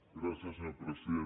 gràcies senyor president